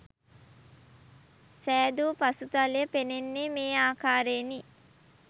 සෑදූ පසුතලය පෙනෙන්නේ මේ ආකාරයෙනි.